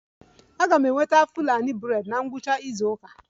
Aga m enweta Fulani braids na ngwụcha izu ụka